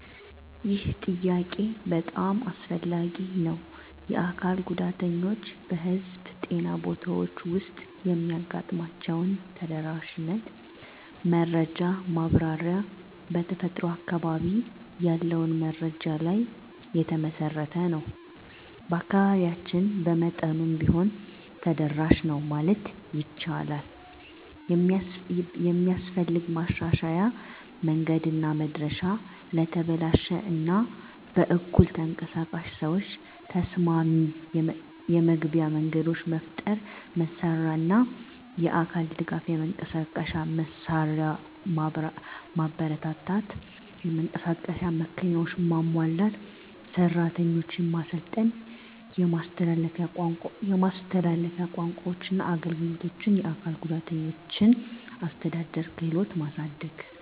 ይህ ጥያቄ በጣም አስፈላጊ ነው። የአካል ጉዳተኞች በህዝብ ጤና ቦታዎች ውስጥ የሚያጋጥሟቸውን ተደራሽነት መረጃ ማብራሪያ በተፈጥሮ በአካባቢ ያለውን መረጃ ላይ የተመሠረተ ነው። በአካባቢያችን በመጠኑም ቢሆን ተደራሽ ነው ማለት ይቻላል። የሚስፈልግ ማሻሻያ መንገድና መድረሻ ለተበላሽ እና በኩል ተንቀሳቃሽ ሰዎች ተስማሚ የመግቢያ መንገዶች መፍጠር። መሳሪያና አካል ድጋፍ የመንቀሳቀሻ መሳሪያ ማበረታታት (የመንቀሳቀስ መኪናዎች) ማሟላት። ሰራተኞች ማሰልጠን የማስተላለፊያ ቋንቋዎችና አገልግሎት አካል ጉዳተኞችን አስተዳደር ክህሎትን ማሳደግ።